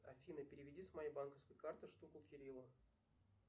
афина переведи с моей банковской карты штуку кириллу